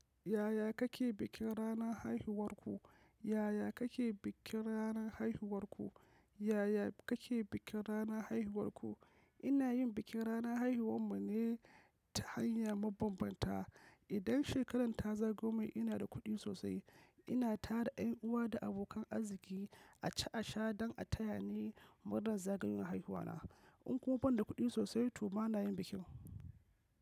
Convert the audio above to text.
Yaya kake bikin ranar haihuwar ku? Yaya kake bikin ranar haihuwar ku? Yaya kake bikin ranar haihuwar ku? Ina yin bikin ranar haihuwarmu ne ta hanya mabambanta. Idan shekarar ta zagayomin ina da kuɗi sosai, ina tara yan uwa da abokan arziki a ci a sha don a taya ni murnar zagayowar haihuwana. In kuma ban da kuɗi sosai, to ba na yin bikin.